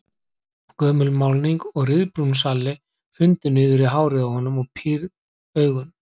Gömul málning og ryðbrúnn salli hrundu niður í hárið á honum og pírð augun.